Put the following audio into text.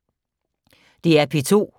DR P2